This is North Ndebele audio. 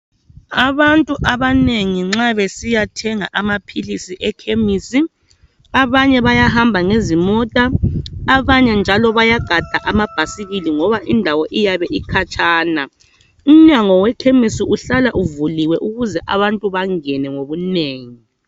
Abantu abanengi nxa besiya thenga amaphilisi ekhemisi abanye bayahamba ngezimota abanye njalo bayagada amabhasikili ngoba indawo iyabe ukhatshana umnyango wekhemisi uhlala uvuliwe ukuze abantu bangene ngobunengi.